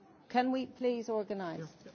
Can we please organise this?